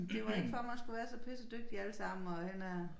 Det var ikke for man skulle være så pisse dygtig alle sammen og hen og